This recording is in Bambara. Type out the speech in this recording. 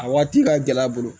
A waati ka gɛlɛ a bolo